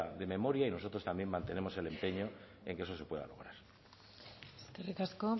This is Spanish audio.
de memoria y nosotros también mantenemos el empeño en que eso se pueda hacer eskerrik asko